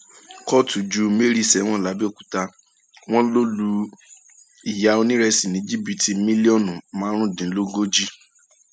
kóòtù ju mary sẹwọn làbẹọkútà wọn lọ lu ìyá onírésì ní jìbìtì mílíọnù márùndínlógójì